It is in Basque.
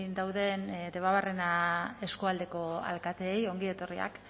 dauden debabarrena eskualdeko alkateei ongi etorriak